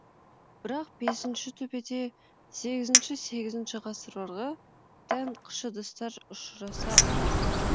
бірақ бесінші төбеде сегізінші сегізінші ғасырларға тән кыш ыдыстар ұшыраса койған жоқ